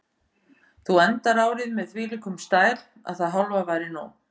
Þú endar árið með þvílíkum stæl að það hálfa væri nóg.